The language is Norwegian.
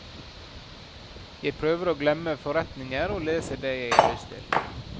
Jeg prøver å glemme forretninger og leser det jeg har lyst til.